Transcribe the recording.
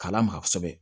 K'a lamaga kosɛbɛ